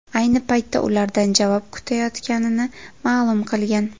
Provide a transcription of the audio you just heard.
Ayni paytda ulardan javob kutayotganini ma’lum qilgan.